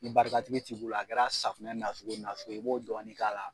Ni barikatigi t'i bolo a kɛr'a safunɛ nasugu o nasugu ye i b'o dɔɔni k'a la